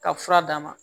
Ka fura d'a ma